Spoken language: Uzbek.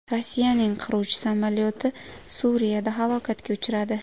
Rossiyaning qiruvchi samolyoti Suriyada halokatga uchradi.